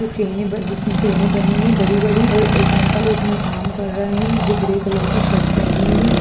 जो चैने जिसमे चैने बनी है बड़ी-बड़ी और एक अंकल उसमे काम कर रहे है जो ग्रे कलर की शर्ट पहने है।